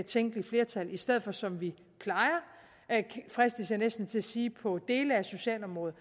tænkelige flertal i stedet for som vi fristes jeg næsten til at sige på dele af socialområdet